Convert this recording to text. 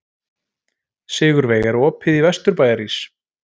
Sigurveig, er opið í Vesturbæjarís?